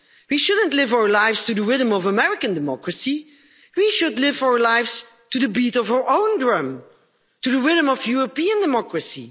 We shouldn't live our lives to the rhythm of American democracy. We should live our lives to the beat of our own drum, to the rhythm of European democracy.